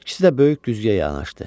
İkisi də böyük güzgüyə yanaşdı.